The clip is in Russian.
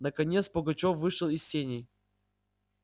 наконец пугачёв вышел из сеней